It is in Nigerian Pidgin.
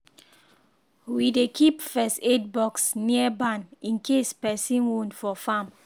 we dey keep first aid box near barn in case person wound for farm